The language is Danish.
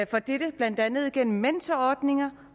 for dette blandt andet gennem mentorordninger